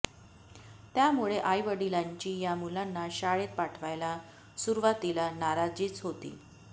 त्यामुळे आईवडिलांची या मुलांना शाळेत पाठवायला सुरुवातीला नाराजीच होती